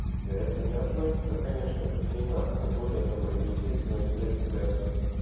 это не относится конечно ко всей нации более того это естественное следствие